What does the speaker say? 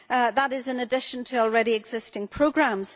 That is in addition to already existing programmes.